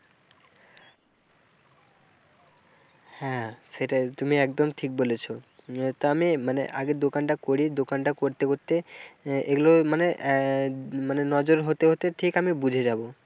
হ্যাঁ সেটাই তুমি একদম ঠিক বলেছ তো আমি মানে আগে দোকানটা করি, দোকানটা করতে করতে এগুলো মানে আহ মানে নজর হতে হতে ঠিক আমি বুঝে যাব।